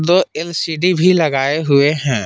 दो एल_सी_डी भी लगाए हुए हैं।